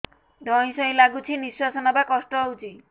ଧଇଁ ସଇଁ ଲାଗୁଛି ନିଃଶ୍ୱାସ ନବା କଷ୍ଟ ହଉଚି